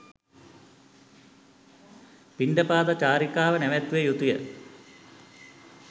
පිණ්ඩපාත චාරිකාව නැවැත්විය යුතු ය.